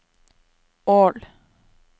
Ål